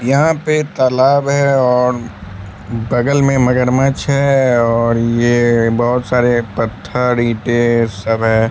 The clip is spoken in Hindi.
यहां पे तालाब है और बगल में मगरमच्छ है और ये बहोत सारे पत्थर ईंटे सब है।